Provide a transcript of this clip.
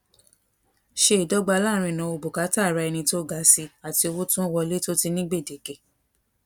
se idogba laarin inawo bùkátà ara ẹni to ga si ati owo to n wole to ti ni gbedeke